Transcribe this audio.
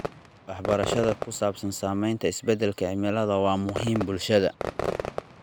Waxbarashada ku saabsan saameynta isbeddelka cimilada waa muhiim bulshada.